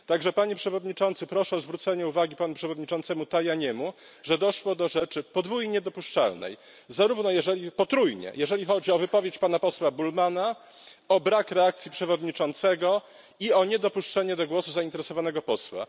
Panie Przewodniczący, proszę o zwrócenie uwagi panu przewodniczącemu Tajaniemu, że doszło do rzeczy podwójnie, a nawet potrójnie, niedopuszczalnej, jeżeli chodzi o wypowiedź pana posła Bullmanna, o brak reakcji przewodniczącego i o niedopuszczenie do głosu zainteresowanego posła.